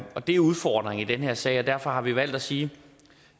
og det er udfordringen i den her sag derfor har vi valgt at sige